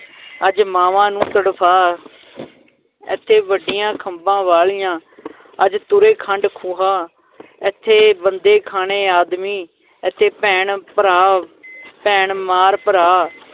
ਅੱਜ ਮਾਵਾਂ ਨੂੰ ਤੜਫਾ ਏਥੇ ਵੱਡੀਆਂ ਖੰਭਾਂ ਵਾਲੀਆਂ ਅੱਜ ਤੁਰੇ ਖੰਡ ਖੁਹਾ ਏਥੇ ਬੰਦੇ-ਖਾਣੇ ਆਦਮੀ ਏਥੇ ਭੈਣ ਭਰਾ ਭੈਣ ਮਾਰ ਭਰਾ